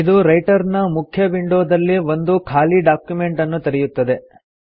ಇದು ರೈಟರ್ ನ ಮುಖ್ಯ ವಿಂಡೋ ದಲ್ಲಿ ಒಂದು ಖಾಲಿ ಡಾಕ್ಯುಮೆಂಟ್ ಅನ್ನು ತೆರೆಯುತ್ತದೆ